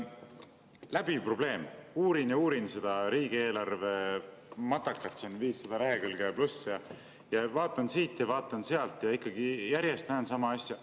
Läbiv probleem: uurin ja uurin seda riigieelarvematakat – seda on 500 ja pluss lehekülge –, vaatan siit ja vaatan sealt, ikkagi näen järjest sama asja.